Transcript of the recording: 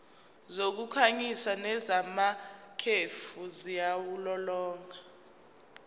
zokukhanyisa nezamakhefu ziwulolonga